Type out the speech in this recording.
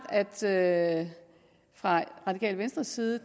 at fra radikale venstres side